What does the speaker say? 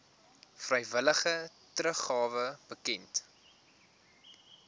vrywillige teruggawe bekend